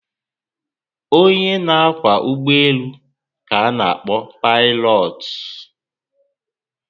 Onye na kwá ụgbọelu ka ana- akpọ Paịlọọtụ